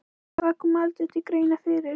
Og það kom aldrei til greina fyrir